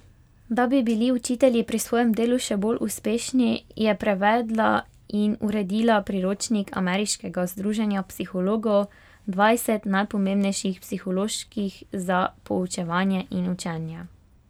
Da bi bili učitelji pri svojem delu še bolj uspešni, je prevedla in uredila priročnik ameriškega združenja psihologov Dvajset najpomembnejših psiholoških za poučevanje in učenje.